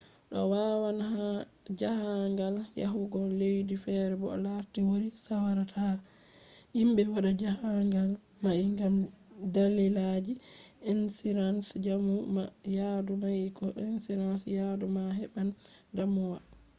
to awadan jahangal yahugo laddi fere bo larti wodi sawara ta himbe wada jahangal mai gam dalilaji insurance jamu ma ya yadu mai ko insurance yadu ma heban damuwa